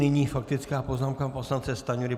Nyní faktická poznámka poslance Stanjury.